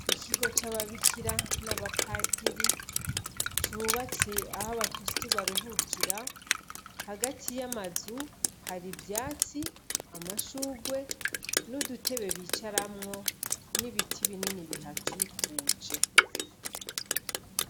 Ikigo c'ababikira n' aba padiri cubatse aho aba kristu baruhukira hagati y'amazu hari ivyatsi amashugwe n' udutebe bicaramwo n' ibiti binini bihakikuje.